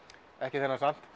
ekki þennan samt